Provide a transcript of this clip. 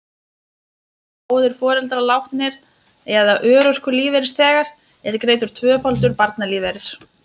Séu báðir foreldrar látnir eða örorkulífeyrisþegar, er greiddur tvöfaldur barnalífeyrir.